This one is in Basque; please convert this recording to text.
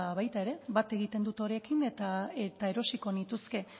ba baita ere bat egiten dut horiekin eta erosiko nituzke